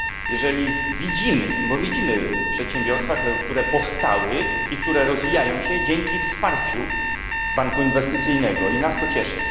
Gdy widzimy przedsiębiorstwa, które powstały i które rozwijają się dzięki wsparciu Banku Inwestycyjnego, to nas to cieszy.